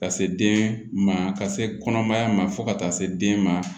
Ka se den ma ka se kɔnɔmaya ma fo ka taa se den ma